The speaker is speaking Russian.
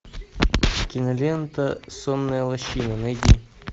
кинолента сонная лощина найди